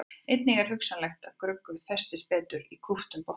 Einnig er hugsanlegt að grugg festist betur í kúptum botni.